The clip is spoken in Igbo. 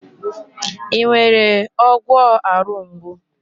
Ị nwere ọgwọ arụ mgbu?